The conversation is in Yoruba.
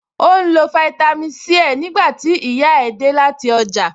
Ó ń lo fáítámì Sí ẹ̀ nígbà tí ìyá ẹ̀ dé láti ọjà